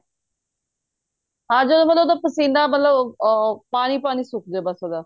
ਹਾਂ ਮਤਲਬ ਜਦੋਂ ਉਹਦਾ ਪਸੀਨਾ ਮਤਲਬ ਉਹ ਪਾਣੀ ਪਾਣੀ ਸੁੱਕ ਜੇ ਬੱਸ ਉਹਦਾ